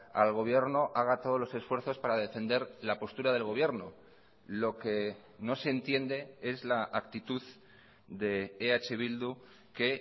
al gobierno haga todos los esfuerzos para defender la postura del gobierno lo que no se entiende es la actitud de eh bildu que